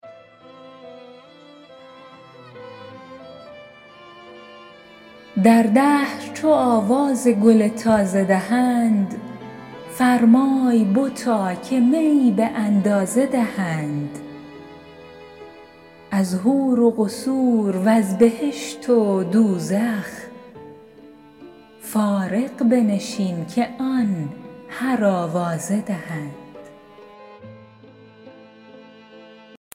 در دهر چو آواز گل تازه دهند فرمای بتا که می به اندازه دهند از حور و قصور و ز بهشت و دوزخ فارغ بنشین که آن هر آوازه دهند